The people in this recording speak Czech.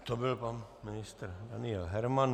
To byl pan ministr Daniel Herman.